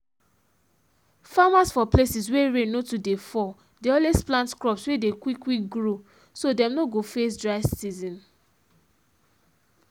farmers for places wey rain no too dey fall dey always plant crops wey dey quick quick grow so dem no go face dry season